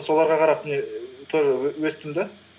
соларға қарап міне ііі тоже өстім да